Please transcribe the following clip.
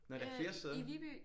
Nå der er flere steder